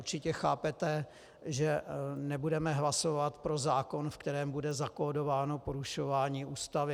Určitě chápete, že nebudeme hlasovat pro zákon, ve kterém bude zakódováno porušování Ústavy.